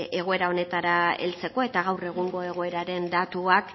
egoera honetara heltzeko eta gaur egungo egoeraren datuak